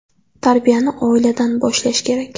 Tarbiyani oiladan boshlash kerak.